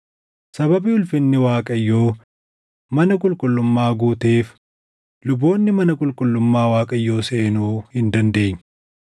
Sababii ulfinni Waaqayyoo mana qulqullummaa guuteef luboonni mana qulqullummaa Waaqayyoo seenuu hin dandeenye.